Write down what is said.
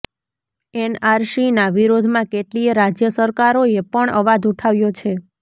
એનઆરસીના વિરોધમાં કેટલીય રાજ્ય સરકારોએ પણ અવાજ ઉઠાવ્યો છે